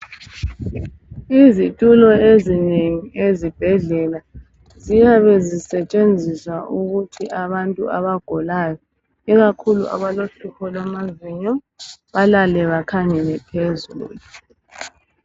Izitulo ezinengi ezibhedlela ziyabe zisetshenziswa ukuthi abantu abagulayo ikakhulu abalohlupho lwamazinyo balale bakhangele phezulu.